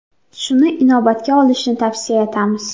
Shuni inobatga olishni tavsiya etamiz.